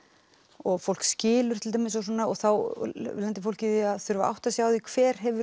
og fólk skilur til dæmis og þá lendir í fólk í því að þurfa að átta sig á því hver hefur